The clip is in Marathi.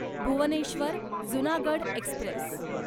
भुवनेश्वर जुनागढ एक्स्प्रेस